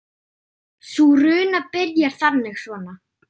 Sú runa byrjar þannig svona